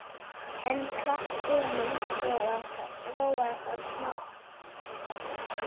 En við klapp Emils róaðist hann smám saman.